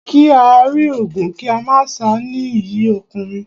Kí á rí ogun kí a má sá ni iyì ọkùnrin.